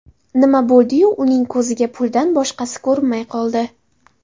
Nima bo‘ldi-yu, uning ko‘ziga puldan boshqasi ko‘rinmay qoldi.